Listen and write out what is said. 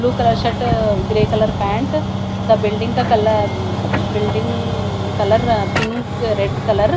blue colour shirt uh grey colour pant the building building colour pink red colour.